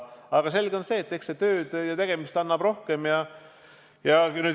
Aga selge on see, et eks siin tööd ja tegemist ole rohkem.